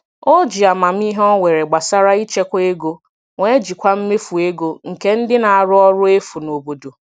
O ji amamihe o nwere gbasara ịchekwa ego wee jikwaa mmefu ego nke ndị na-arụ ọrụ efu n'obodo.